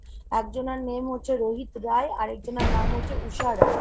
একজনার name হচ্ছে রোহিত রায় আর একজনার নাম হচ্ছে উষা রায়।